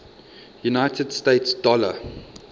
united states dollar